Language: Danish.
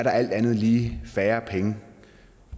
der alt andet lige færre penge